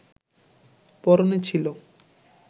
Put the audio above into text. পরনে ছিল